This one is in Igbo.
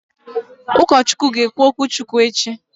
Ụkọchukwu ga-ekwusa echi?